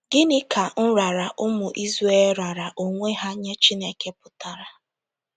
Gịnị ka nrara ụmụ Izrel raara onwe ha nye Chineke pụtara??